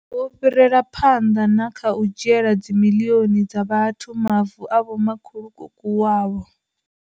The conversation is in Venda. Wo fhirela phanḓa na kha u dzhiela dzi miḽioni dza vhathu mavu a vhomakhulukuku wavho.